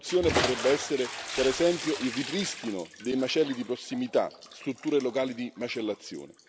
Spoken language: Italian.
Una soluzione potrebbe essere, per esempio, il ripristino dei macelli di prossimità, strutture locali di macellazione.